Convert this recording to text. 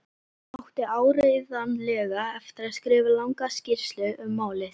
Átti áreiðanlega eftir að skrifa langa skýrslu um málið.